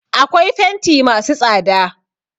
Akwai fenti masu tsada.